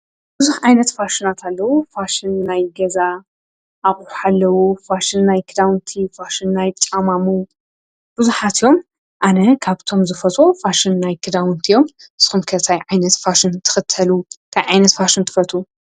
ብዙኅ ዓይነት ፋሽናትኣለዉ ፋሽን ናይ ገዛ ኣቝሕ ሓለዉ ፋሽን ናይ ክዳውንቲ ፋሽን ናይ ጣማሙ ብዙኃት እዮም ኣነ ካብቶም ዝፈጾ ፋሽን ናይ ክዳውንቲ እዮም ስምከታይ ዓይነት ፋሽን ትኽተሉ ካይ ኣይነት ፋሹም ትፈርቱ።